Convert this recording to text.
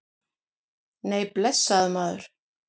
Nei, blessaður, maður.